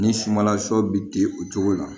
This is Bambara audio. Ni sumanla sɔ bɛ di o cogo la